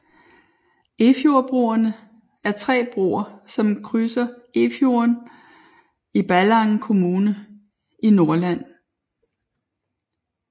Efjordbroerne er tre broer som krydser Efjorden i Ballangen kommune i Nordland